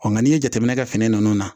Ɔ nka n'i ye jateminɛ kɛ fini ninnu na